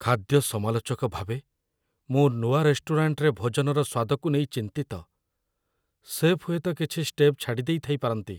ଖାଦ୍ୟ ସମାଲୋଚକ ଭାବେ, ମୁଁ ନୂଆ ରେଷ୍ଟୁରାଣ୍ଟରେ ଭୋଜନର ସ୍ୱାଦକୁ ନେଇ ଚିନ୍ତିତ। ଶେଫ୍ ହୁଏତ କିଛି ଷ୍ଟେପ୍ ଛାଡ଼ି ଦେଇଥାଇପାରନ୍ତି।